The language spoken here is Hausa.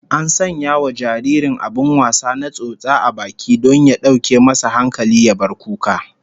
An sanya wa jaririn abin wasa na tsotsa a baki don ya dauke masa hankali ya bar kuka